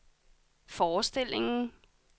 forestillingen